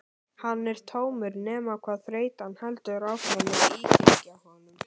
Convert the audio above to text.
Hann er tómur nema hvað þreytan heldur áfram að íþyngja honum.